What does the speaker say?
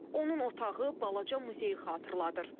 Onun otağı balaca muzeyi xatırladır.